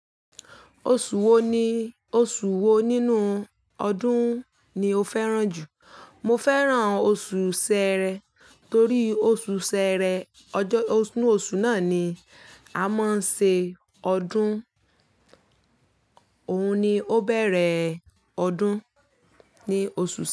Oṣù wo ni oṣù wo nínú ọdún ni o fẹ́ràn jù? Mo fẹ́ràn oṣù Ṣẹẹrẹ torí oṣù Ṣẹẹrẹ ọjọ́, inu oṣù náà ni a máa ń ṣe ọdún. Òun ni ó bẹ̀rẹ̀ ọdún ni oṣù Ṣẹ.